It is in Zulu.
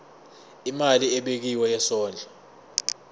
imali ebekiwe yesondlo